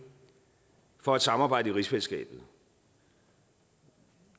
for at samarbejde i rigsfællesskabet